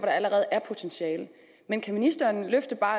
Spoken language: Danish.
allerede er potentiale men kan ministeren løfte bare